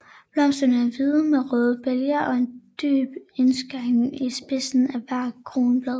Blomsterne er hvide med rødt bæger og en dyb indskæring i spidsen af hvert kronblad